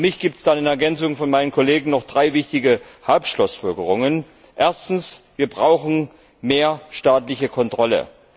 Für mich gibt es da in Ergänzung zu meinen Kollegen noch drei wichtige Hauptschlussfolgerungen Erstens brauchen wir mehr staatliche Kontrolle.